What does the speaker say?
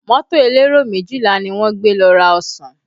Mọ́tò elero méjìlá ni wọ́n gbé lọ ra ọsàn